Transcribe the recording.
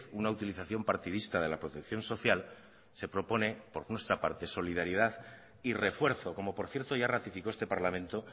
una utilización partidista de la protección social se propone por nuestra parte solidaridad y refuerzo como por cierto ya ratificó este parlamento